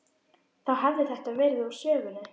Þá hefði þetta verið úr sögunni.